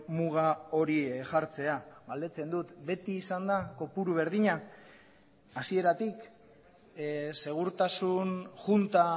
muga hori jartzea galdetzen dut beti izan da kopuru berdina hasieratik segurtasun junta